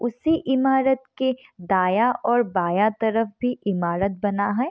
उसी इमारत के दांया और बांया तरफ भी इमारत बना है।